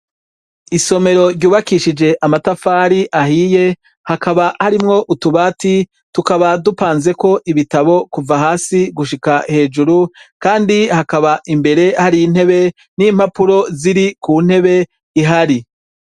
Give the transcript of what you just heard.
Isomero ryubakishije amatafari ahiye; hakaba harimwo utubati, tukaba dupanzeko ibitabo kuva hasi gushika hejuru. Kandi hakaba imbere hari intebe, n'impapuro ziri ku ntebe ihari.